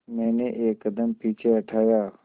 मैंने एक कदम पीछे हटाया